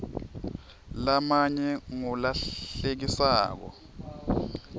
lamanye ngulahlekisako